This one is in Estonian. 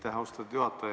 Aitäh, austatud juhataja!